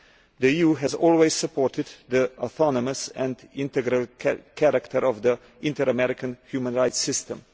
The EU has always supported the autonomous and integral character of the Inter American Human Rights System.